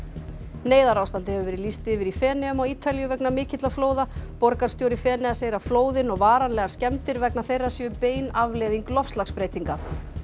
neyðarástandi hefur verið lýst yfir í Feneyjum á Ítalíu vegna mikilla flóða borgarstjóri Feneyja segir að flóðin og varanlegar skemmdir vegna þeirra séu bein afleiðing loftslagsbreytinga